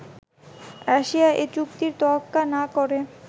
Russia এ চুক্তির তোয়াক্কা না করে